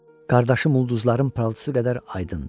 Qardaşım, ulduzların parıltısı qədər aydındır.